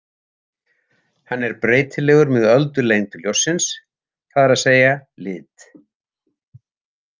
Hann er breytilegur með öldulengd ljóssins, það er að segja lit.